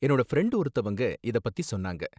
என்னோட ஃப்ரெண்ட் ஒருத்தவங்க இத பத்தி சொன்னாங்க.